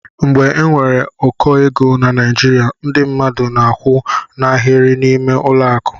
Mgbe enwere ụkọ égo na Naijiria ndị mmadụ na akwụ n' Ahiri n'ime ụlọ akụ.